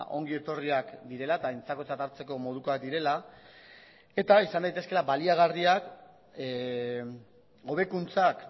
ongi etorriak direla eta aintzakotzat hartzeko modukoak direla eta izan daitezkeela baliagarriak hobekuntzak